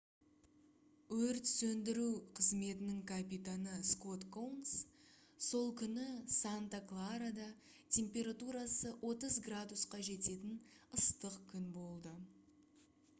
өрт сөндіру қызметінің капитаны скот коунс: «сол күні санта-кларада температурасы 90 градусқа жететін ыстық күн болды